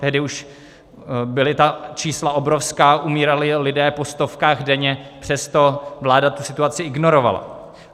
Tehdy už byla ta čísla obrovská, umírali lidé po stovkách denně, přesto vláda tu situaci ignorovala.